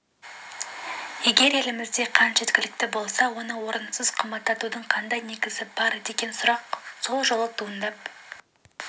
егер елімізде қант жеткілікті болса оны орынсыз қымбаттатудың қандай негізі бар деген сұрақ сол жолы туындап